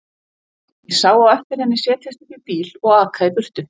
Ég sá á eftir henni setjast upp í bíl og aka í burtu.